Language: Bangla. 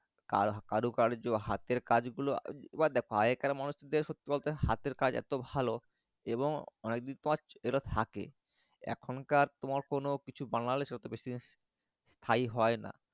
আর কারু কার্য তোমার হাতের কাজ গুলো এবার দ্যাখো আগেকার মানুষ যে বলতো হাতের কাজ এত ভালো এবং অনেক দিন এটা থাকে এখনকার কোনো কিছু বানালে স্থায়ী হয় না।